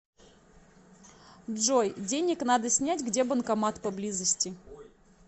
джой денег надо снять где банкомат поблизости